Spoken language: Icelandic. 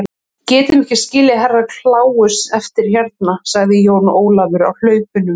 Við getum ekki skilið Herra Kláus eftir hérna, sagði Jón Ólafur á hlaupunum.